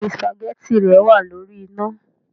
Béèni spaghetti rẹ wàá lórí iná